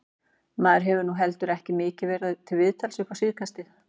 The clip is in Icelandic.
Maður hefur nú heldur ekki mikið verið til viðtals upp á síðkastið.